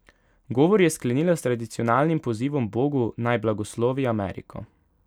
Govor je sklenila s tradicionalnim pozivom bogu, naj blagoslovi Ameriko.